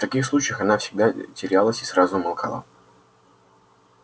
в таких случаях она всегда терялась и сразу умолкала